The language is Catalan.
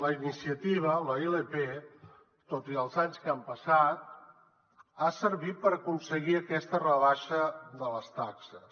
la iniciativa la ilp tot i els anys que han passat ha servit per aconseguir aquesta rebaixa de les taxes